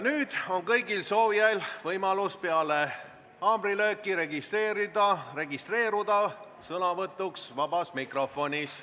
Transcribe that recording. Nüüd on kõigil soovijail võimalus peale haamrilööki registreeruda sõnavõtuks vabas mikrofonis.